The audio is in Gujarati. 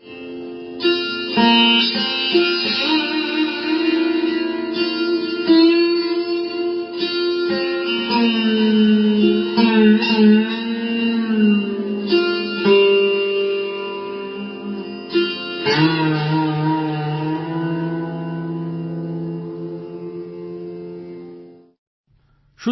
sound clip 21 seconds instrument Sursingar artist Joydeep Mukherjee